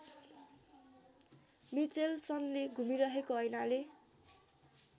मिचेल्सनले घुमिरहेको ऐनाले